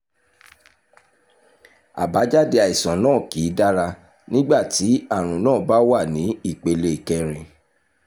àbájáde àìsàn náà kì í dára nígbà tí àrùn náà bá wà ní ìpele kẹrin